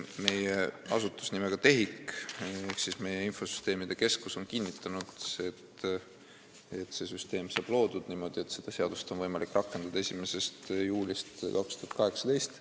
Meie asutus nimega TEHIK ehk meie infosüsteemide keskus on kinnitanud, et see süsteem saab loodud niimoodi, et seda seadust on võimalik rakendada 1. juulist 2018.